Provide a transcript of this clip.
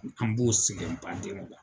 An b'o sɛgɛn baden de la.